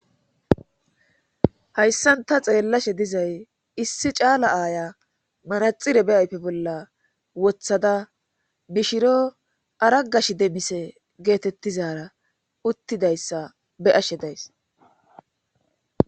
hayssan ta xeellashe dizay issi caala aaya manaxire beyayfe bolla wothada mishiro aragash demise geetettizaara uttidayssa be ashe days